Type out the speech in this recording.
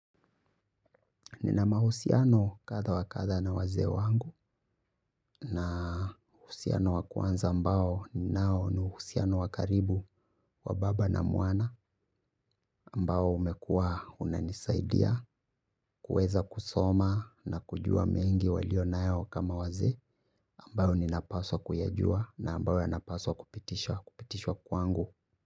Nina mahusiano kadha wa kadha na wazee wangu na uhusiano wa kwanza ambao ninao ni uhusiano wa karibu wa baba na mwana ambao umekuwa unanisaidia kuweza kusoma na kujua mengi waliyo nayo kama wazee ambayo ninapaswa kuyajua na ambayo yanapaswa kupitishwa kwangu.